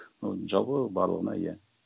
ну жалпы барлығына иә